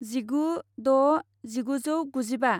जिगु द' जिगुजौगुजिबा